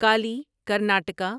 Kali Karnataka